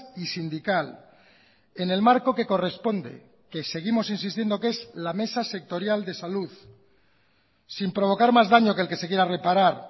y sindical en el marco que corresponde que seguimos insistiendo que es la mesa sectorial de salud sin provocar más daño que el que se quiera reparar